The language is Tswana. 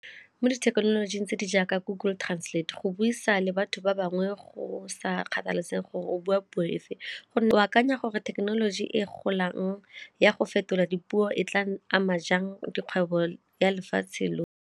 Mo dithekenoloji tse di jaaka Google Translate go buisa le batho ba bangwe go sa kgathalesege gore o bua puo efe go akanya gore thekenoloji e golang ya go fetola dipuo e tla ama jang dikgwebo ya lefatshe lotlhe?